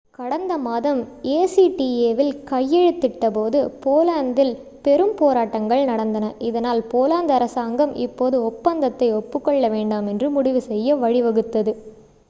கடந்த மாதம் acta வில் கையெழுத்திட்டபோது போலந்தில் பெரும் போராட்டங்கள் நடந்தன இதனால் போலந்து அரசாங்கம் இப்போது ஒப்பந்தத்தை ஒப்புக் கொள்ள வேண்டாம் என்று முடிவு செய்ய வழிவகுத்தது